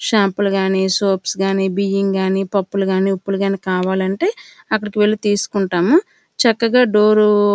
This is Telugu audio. షాంపూలు కానీ సోప్స్ కానీ బియ్యం కానీ పప్పులు కానీ ఉప్పులు కానీ కావాలంటే అక్కడకు వెళ్లి తీసుకుంటాము చక్కగా డోరు--